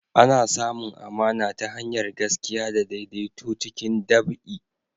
Ana samun amana ta hanyar gaskiya da daidaito cikin ɗabi'a.